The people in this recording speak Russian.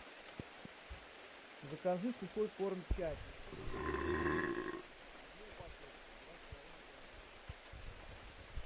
закажи сухой корм чаппи сытный мясной обед одну упаковку два с половиной килограмма